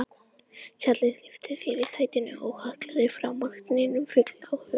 Charles lyfti sér í sætinu og hallaðist framá hnén fullur áhuga